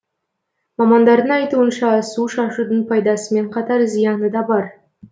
мамандардың айтуынша су шашудың пайдасымен қатар зияны да бар